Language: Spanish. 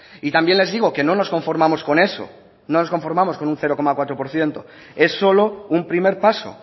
y también les digo que no nos conformamos con eso no nos conformamos con un cero coma cuatro por ciento es solo un primer paso